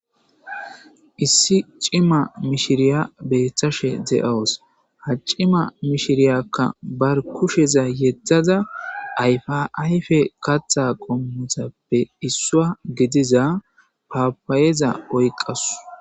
Issi cima mishiriya betashe de7owus ha cima mishiriyakka bar kusheza yettada ayfa ayfe katha qommutappe issua gediza papayeza oyqasu.